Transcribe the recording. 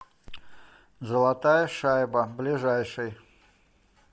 золотая шайба ближайший